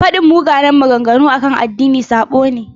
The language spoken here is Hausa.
Faɗin munanan maganganu akan addini sabo ne.